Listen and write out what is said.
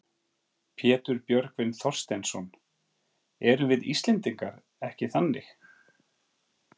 Pétur Björgvin Þorsteinsson: Erum við Íslendingar ekki þannig?